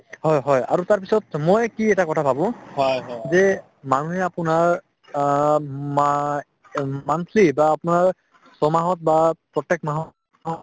হয় হয় আৰু তাৰপিছত মই কি এটা কথা ভাবো যে মানুহে আপোনাৰ অ মাই উম monthly বা আপোনাৰ ছমাহত বা প্ৰত্যেক মাহত